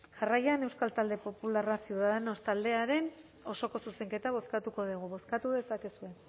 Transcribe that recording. jarraian euskal talde popularra ciudadanos taldearen osoko zuzenketa bozkatuko dugu bozkatu dezakegu